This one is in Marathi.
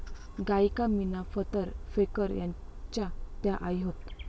गायिका मीना फतर फेकर यांच्या त्या आई होत